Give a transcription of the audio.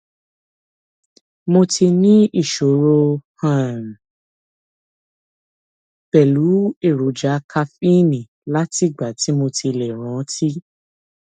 mo ti níṣòro um pẹlú èròjà kaféènì látìgbà tí mo ti lè rántí